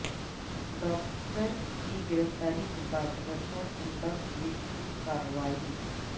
doctor کی گرفتاری کے بعد رچہ کنڈہ پولیس کی کارروائی